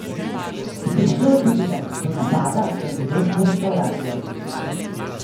Prišlo je tudi do napada na judovsko restavracijo.